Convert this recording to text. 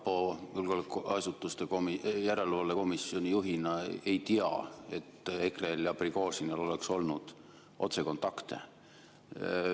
Mina julgeolekuasutuste järelevalve komisjoni juhina ei tea, et EKRE‑l ja Prigožinil oleks olnud otsekontakte.